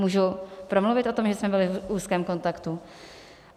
Můžu promluvit o tom, že jsme byli v úzkém kontaktu?